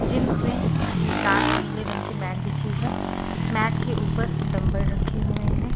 Gym में लाल और नीले रंग की मैट बिछी है मैट के ऊपर डंबल रखे हुए हैं।